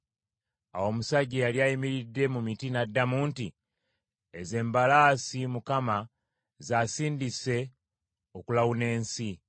Awo omusajja eyali ayimiridde mu miti n’addamu nti, “Ezo embalaasi Mukama z’asindise okulawuna ensi.”